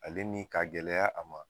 Ale ni k'a gɛlɛya a ma